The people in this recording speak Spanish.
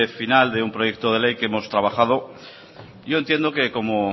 final de un proyecto de ley que hemos trabajado yo entiendo que